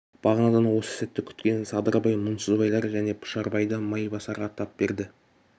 бағанадан осы сәтті күткен садырбай мұңсызбайлар және пұшарбай да майбасарға тап берді